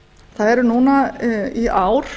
það er núna í ár